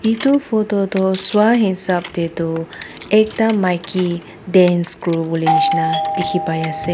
etu photo toh saa hisab te toh ekta maiki dance kuriwole nishe na dikhi pai ase.